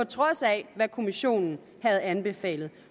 trods af hvad kommissionen havde anbefalet